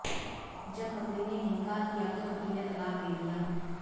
जब पत्नी ने इनकार किया तो पति ने तलाक दे दिया